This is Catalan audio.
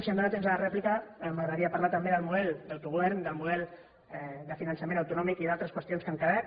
si em dóna temps a la rèplica m’agradaria parlar també del model d’autogovern del model de finançament autonòmic i d’altres qüestions que han quedat